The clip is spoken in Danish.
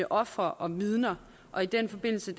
ofre og vidner og i den forbindelse